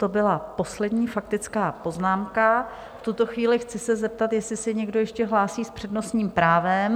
To byla poslední faktická poznámka, v tuto chvíli chci se zeptat, jestli se někdo ještě hlásí s přednostním právem?